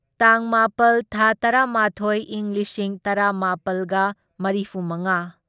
ꯇꯥꯡ ꯃꯥꯄꯜ ꯊꯥ ꯇꯔꯥꯃꯥꯊꯣꯢ ꯢꯪ ꯂꯤꯁꯤꯡ ꯇꯔꯥꯃꯥꯄꯜꯒ ꯃꯔꯤꯐꯨꯃꯉꯥ